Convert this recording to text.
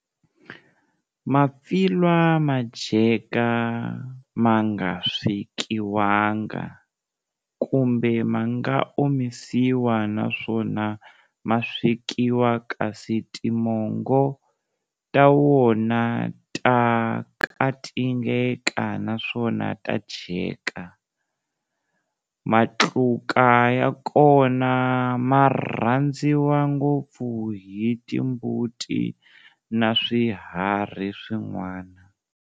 Mapfilwa madyeka manga swekiwanga, kumbe manga omisiwa naswona maswekiwa, kasi timongo ta wona ta katingeka naswona ta dyeka. Matluka ya kona ma rhandziwa ngopfu hi timbuti na swiharhi swin'wana.